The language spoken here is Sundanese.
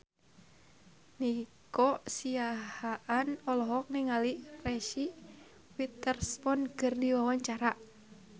Nico Siahaan olohok ningali Reese Witherspoon keur diwawancara